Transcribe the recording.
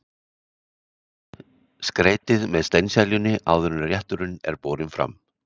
Skreytið með steinseljunni áður en rétturinn er borinn fram.